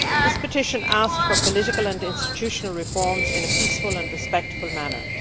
That petition asked for political and institutional reforms in a peaceful and respectful manner.